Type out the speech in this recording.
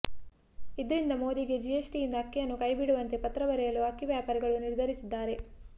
ಇದ್ರಿಂದ ಮೋದಿಗೆ ಜಿಎಸ್ಟಿಯಿಂದ ಅಕ್ಕಿಯನ್ನು ಕೈ ಬಿಡುವಂತೆ ಪತ್ರ ಬರೆಯಲು ಅಕ್ಕಿ ವ್ಯಾಪಾರಿಗಳು ನಿರ್ಧರಿಸಿದ್ದಾರೆ